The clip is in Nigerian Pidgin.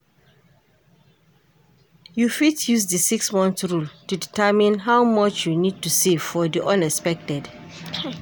You fit use di 6-month rule to determine how much you need to save for di unexpected.